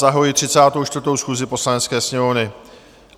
Zahajuji 34. schůzi Poslanecké sněmovny.